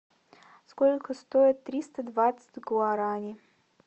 сколько стоит триста двадцать гуарани